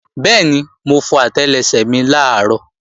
Bẹ́ẹ̀ni, mo fọ àtẹlẹsẹ̀ mi làárọ̀